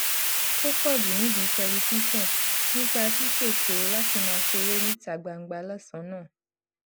tó pò jù nídìí tẹlifíṣòn nípa ṣíṣètò láti máa ṣeré níta gbangba lósànán